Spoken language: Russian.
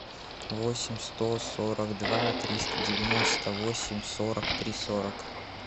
восемь сто сорок два триста девяносто восемь сорок три сорок